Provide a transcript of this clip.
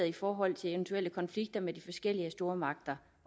i forhold til eventuelle konflikter med de forskellige stormagter